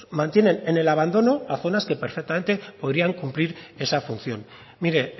mantienen en el abandono a zonas que perfectamente podrían cumplir esa función mire